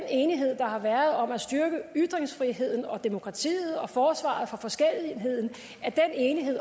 enighed der har været om at styrke ytringsfriheden demokratiet og forsvaret for forskelligheden